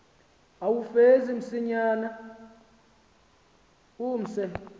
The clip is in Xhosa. uwufeze msinyane umse